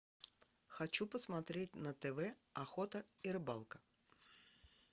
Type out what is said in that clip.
хочу посмотреть на тв охота и рыбалка